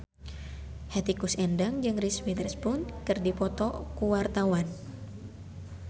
Hetty Koes Endang jeung Reese Witherspoon keur dipoto ku wartawan